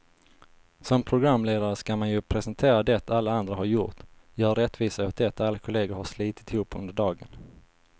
Som programledare ska man ju presentera det alla andra har gjort, göra rättvisa åt det alla kollegor har slitit ihop under dagen.